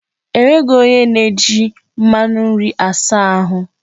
Enweghị onye na-eji mmanụ nri asa ahụ.